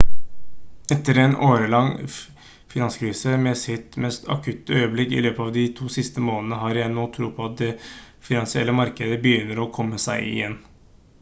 etter en årelang finanskrise med sitt mest akutte øyeblikk i løpet av de siste to månedene har jeg nå tro på at de finansielle markedene begynner å komme seg igjen»